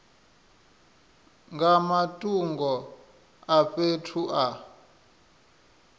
nga matungo a fhethu a